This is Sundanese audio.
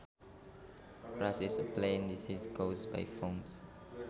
Rust is a plant disease caused by fungus